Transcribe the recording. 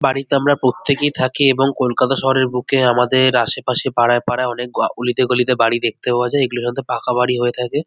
বাড়িতে আমরা প্রত্যেকেই থাকি এবং কলকাতা শহরের বুকে আমাদের আশেপাশে পাড়ায় পাড়ায় অনেক অলিতে গলিতে বাড়ি দেখতে পাওয়া যায় এগুলো হয়তো পাকাবাড়ি হয়ে থাকে।